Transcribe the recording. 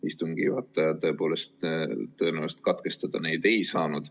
Istungi juhataja aga tõepoolest tõenäoliselt katkestada neid ei saanud.